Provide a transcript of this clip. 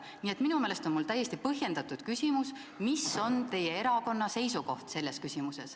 Nii et minu meelest on mul täiesti põhjendatud küsimus: milline on selles küsimuses teie erakonna seisukoht?